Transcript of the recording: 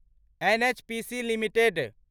NHPC limited